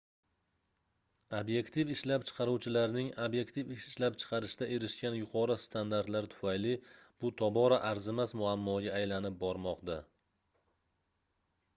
obyektiv ishlab chiqaruvchilarning obyektiv ishlab chiqarishda erishgan yuqori standartlari tufayli bu tobora arzimas muammoga aylanib bormoqda